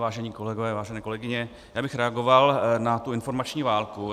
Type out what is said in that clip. Vážení kolegové, vážené kolegyně, já bych reagoval na tu informační válku.